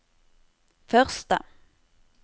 første